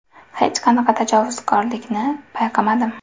Hech qanaqa tajovuzkorlikni payqamadim”.